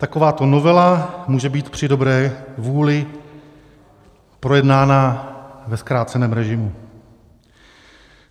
Takováto novela může být při dobré vůli projednána ve zkráceném režimu.